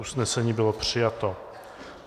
Usnesení bylo přijato.